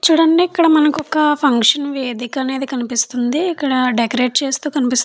చూడండి ఇక్కడ మనకు ఒక ఫంక్షన్ వేదిక అనేది కనిపిస్తుంది ఇక్కడ డెకరేట్ చేస్తూ కనిపిస్తు --